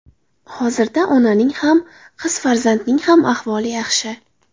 Hozirda onaning ham, qiz farzandning ham ahvoli yaxshi.